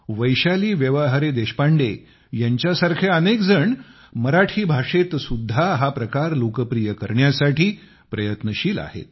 वैशाली व्यवहारे देशपांडे यांच्यासारखे अनेक जण मराठी भाषेत सुद्धा हा प्रकार लोकप्रिय करण्यासाठी प्रयत्नशील आहेत